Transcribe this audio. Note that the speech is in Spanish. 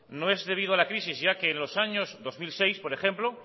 no es debido a la crisis ya que en los años dos mil seis por ejemplo